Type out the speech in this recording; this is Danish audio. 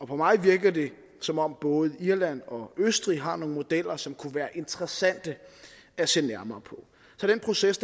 på mig virker det som om både irland og østrig har nogle modeller som kunne være interessante at se nærmere på så den proces